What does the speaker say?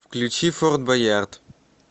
включи форт боярд